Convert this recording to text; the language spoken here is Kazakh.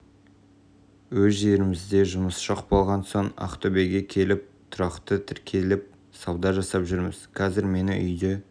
өз жерімізде жұмыс жоқ болған соң ақтөбеге келіп тұрақты тіркеліп сауда жасап жүрміз қазір мені үйде